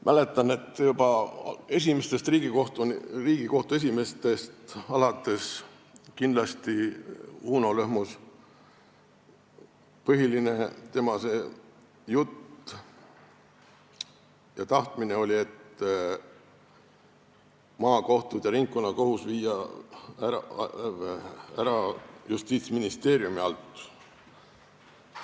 Mäletan, et juba esimestest Riigikohtu esimeestest alates on räägitud seda – kindlasti rääkis seda Uno Lõhmus, tema jutt ja tahtmine see oli –, et maakohus ja ringkonnakohus tuleks viia Justiitsministeeriumi alt ära.